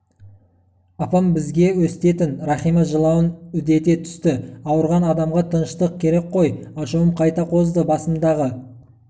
апам бізге өстетін рахима жылауын үдете түсті ауырған адамға тыныштық керек қой ашуым қайта қозды басымдағы